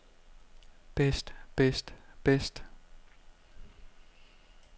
bedst bedst bedst